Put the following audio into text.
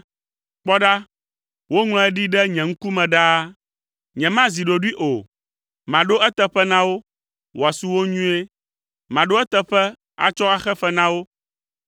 “Kpɔ ɖa, woŋlɔe ɖi ɖe nye ŋkume ɖaa. Nyemazi ɖoɖoe o. Maɖo eteƒe na wo, wòasu wo nyuie. Maɖo eteƒe atsɔ axe fe na wo,